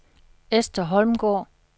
Esther Holmgaard